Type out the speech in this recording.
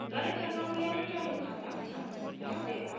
current account यानि चालू खाता सामान्यतः व्यापार के लिए होता है